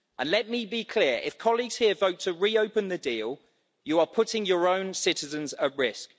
Let me be clear, if colleagues here vote to reopen the deal you are putting your own citizens at risk.